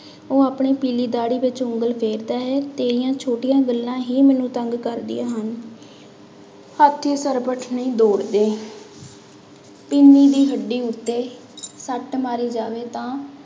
ਉਹ ਆਪਣੀ ਪੀਲੀ ਦਾੜੀ ਵਿੱਚ ਉਂਗਲ ਫੇਰਦਾ ਹੈ, ਤੇਰੀਆਂ ਛੋਟੀਆਂ ਗੱਲਾਂ ਹੀ ਮੈਨੂੰ ਤੰਗ ਕਰਦੀਆਂ ਹਨ ਹਾਥੀ ਸਰਪਟ ਨਹੀਂ ਦੌੜਦੇ ਪਿੰਨੀ ਦੀ ਹੱਡੀ ਉੱਤੇ ਸੱਟ ਮਾਰੀ ਜਾਵੇ ਤਾਂ